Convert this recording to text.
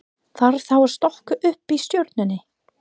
Þarf þá að stokka upp í stjórninni?